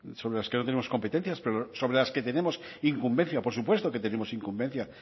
sobre las que no tenemos competencias pero sobre las que tenemos incumbencia por supuesto que tenemos incumbencia